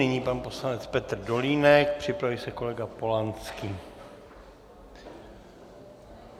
Nyní pan poslanec Petr Dolínek, připraví se kolega Polanský.